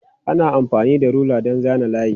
Ana amfani da rula don zana layi.